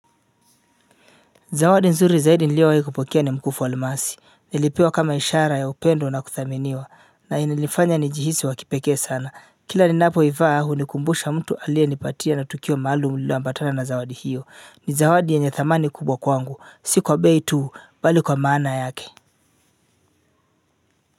Zawadi nzuri zaidi nilio wakipokea ni mkufu wa almasi. Nilipewa kama ishara ya upendo na kuthaminiwa na ilinifanya nijihisi wakipekee sana kila ninapoivaa hunikumbusha mtu aliyenipatia na tukio maalumu liloambatana na zawadi hiyo ni zawadi ya thamani kubwa kwangu. Si kwa tuu mbali kwa maana yake.